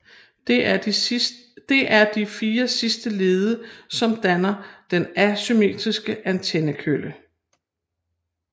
Det er de fire sidste lede som danner den asymmetriske antennekølle